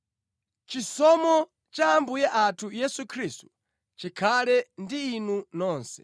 Chisomo cha Ambuye athu Yesu Khristu chikhale ndi inu nonse.